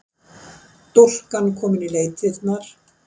Stúlkan komin í leitirnar